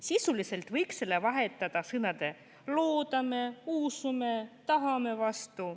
Sisuliselt võiks selle vahetada sõnade "loodame", "usume" või "tahame" vastu.